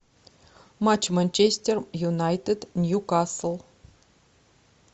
матч манчестер юнайтед ньюкасл